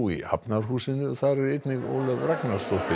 í Hafnarhúsinu þar er einnig Ólöf Ragnarsdóttir